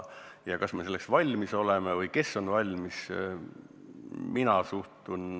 Kas me oleme selleks valmis?